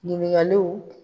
Ɲininkaliw.